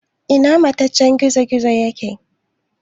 Ina mataccen gizo-gizon yake?